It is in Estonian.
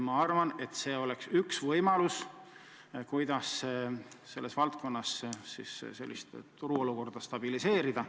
Ma arvan, et see oleks üks võimalus selles valdkonnas turuolukorda stabiliseerida.